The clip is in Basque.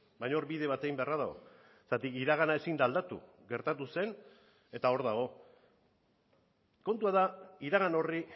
baina hor bide bat egin beharra dago zergatik iragana ezin da aldatu gertatu zen eta hor dago kontua da iragan horri